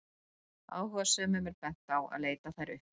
áhugasömum er bent á að leita þær uppi